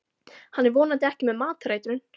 Hann er vonandi ekki með matareitrun.